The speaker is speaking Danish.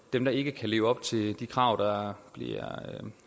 dem der ikke kan leve op til de krav der bliver